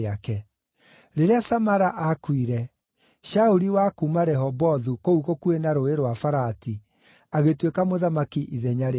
Rĩrĩa Samala aakuire, Shauli wa kuuma Rehobothu, kũu gũkuhĩ na Rũũĩ rwa Farati, agĩtuĩka mũthamaki ithenya rĩake.